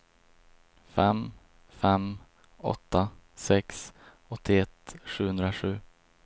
fem fem åtta sex åttioett sjuhundrasju